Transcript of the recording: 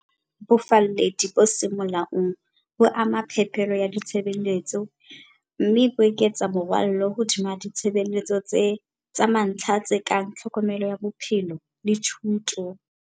Bofalledi bo seng molaong bo ama phepelo ya ditshebeletso, mme bo eketsa morwalo hodima ditshebeletso tsa mantlha tse kang tlhokomelo ya bophelo le thuto.